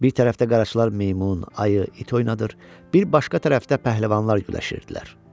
Bir tərəfdə qaraçılar meymun, ayı, it oynadır, bir başqa tərəfdə pəhləvanlar güləşirdilər.